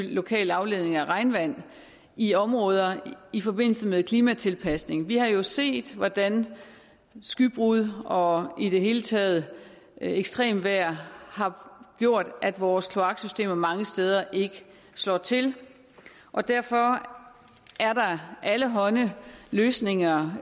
lokale afledninger af regnvand i områder i forbindelse med klimatilpasning vi har jo set hvordan skybrud og i det hele taget ekstremt vejr har gjort at vores kloaksystemer mange steder ikke slår til og derfor er der allehånde løsninger